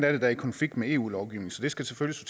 er i konflikt med eu lovgivningen så det skal selvfølgelig